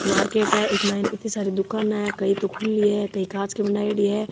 एक मार्केट है एम इती सारी दुकाने है कई तो खुली है कई कांच की बनाईडी है।